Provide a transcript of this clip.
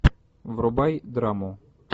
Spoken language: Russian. врубай драму